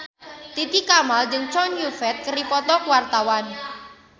Titi Kamal jeung Chow Yun Fat keur dipoto ku wartawan